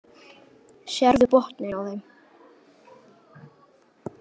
Sérðu botninn á þeim.